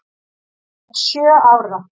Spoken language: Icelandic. Hann er sjö ára.